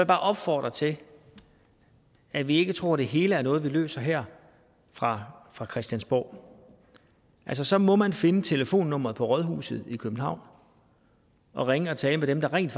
bare opfordre til at vi ikke tror det hele er noget vi løser her fra fra christiansborg altså så må man finde telefonnummeret på rådhuset i københavn og ringe og tale med dem der rent